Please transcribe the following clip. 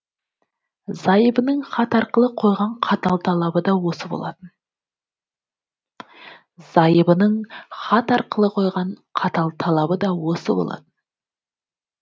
зайыбының хат арқылы қойған қатал талабы да осы болатын